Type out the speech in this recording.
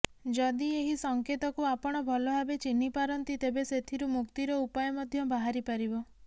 ଯଦି ଏହି ସଂକେତକୁ ଆପଣ ଭଲଭାବେ ଚିହ୍ନିପାରନ୍ତି ତେବେ ସେଥିରୁ ମୁକ୍ତିର ଉପାୟ ମଧ୍ଯ ବାହାରିପାରିବ